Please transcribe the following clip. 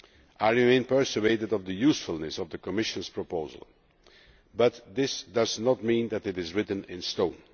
I remain persuaded of the usefulness of the Commission's proposal, but this does not mean that it is written in stone.